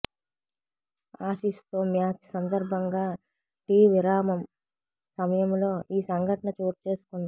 ఆసీస్తో match సందర్భంగా tea విరామం సమయంలో ఈ సంఘటన చోటుచేసుకుంది